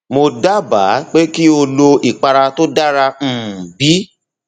mo dábàá pé kí o lo ìpara tó dara um b